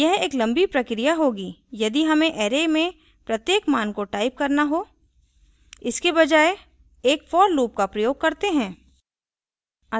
यह एक लम्बी प्रक्रिया होगी यदि हमें array में प्रत्येक मान को type करना हो इसके बजाय एक for loop का प्रयोग करते हैं